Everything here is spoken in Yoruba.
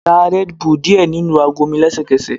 Da red bull diẹ ninu ago mi lẹsẹkẹsẹ